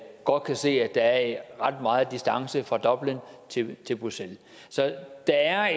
godt kan se at der er ret meget distance fra dublin til bruxelles så der er